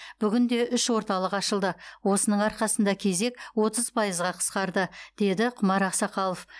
бүгінде үш орталық ашылды осының арқасында кезек отыз пайызға қысқарды деді құмар ақсақалов